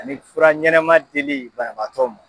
Ani fura ɲɛnɛma dili babaatɔ ma